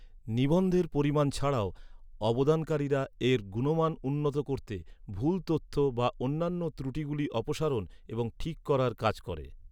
নিবন্ধের পরিমাণ ছাড়াও, অবদানকারীরা এর গুণমান উন্নত করতে, ভুল তথ্য বা অন্যান্য ত্রুটিগুলি অপসারণ এবং ঠিক করার কাজ করে।